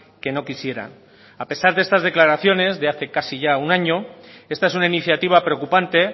que no quisieran a pesar de estas declaraciones de hace casi ya un año esta es una iniciativa preocupante